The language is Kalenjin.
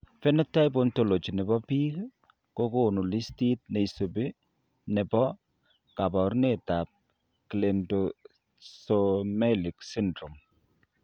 Phenotype Ontology ne po biik kokonu listit nesubu ne po kaabarunetap Cleidorhizomelic syndrome.